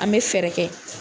An bɛ fɛɛrɛ kɛ.